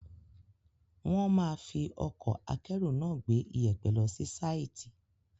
Wọ́n máa fi ọkọ̀ akẹ́rù náà gbé iyẹ̀pẹ̀ lọ sí sáìtì.